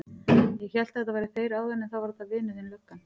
Ég hélt að þetta væru þeir áðan en þá var þetta vinur þinn löggan.